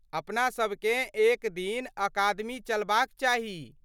अपना सभकेँ एक दिन अकादमी चलबाक चाही!